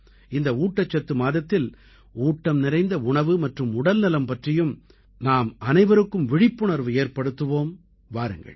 இந்த ஊட்டச்சத்து மாதத்தில் ஊட்டம் நிறைந்த உணவு மற்றும் உடல்நலம் பற்றியும் நாம் அனைவருக்கும் விழிப்புணர்வு ஏற்படுத்துவோம் வாருங்கள்